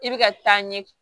I bɛ ka taa ɲɛ